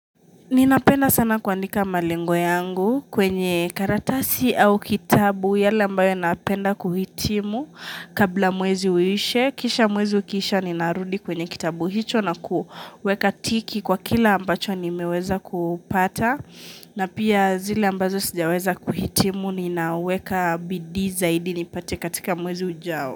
Ninapenda sana kuandika malengo yangu kwenye karatasi au kitabu yale ambayo napenda kuhitimu kabla mwezi uishe. Kisha mwezi ukiisha ninarudi kwenye kitabu hicho na kuweka tiki kwa kila ambacho nimeweza kupata. Na pia zile ambazo sijaweza kuhitimu ni naweka bidii zaidi nipate katika mwezi ujao.